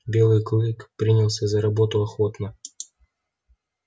белый клык принялся за работу охотно